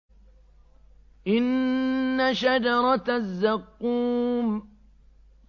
إِنَّ شَجَرَتَ الزَّقُّومِ